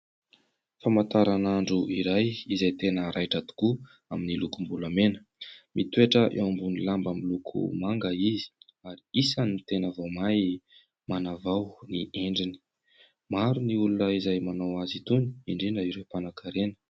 Famantaran'andro iray izay tena raitra tokoa, amin'ny lokom-bolamena. Mitoetra eo ambony lamba miloko manga izy ary isan'ny tena vao mainka manavao ny endriny. Maro ny olona izay manao azy itony, indrindra ireo mpanankarena.